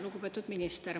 Lugupeetud minister!